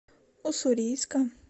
уссурийска